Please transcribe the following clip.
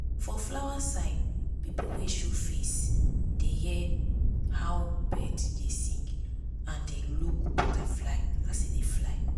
for flower side pipu wey show face dey hear how bird dey sing and dey look butterfly as e dey fly.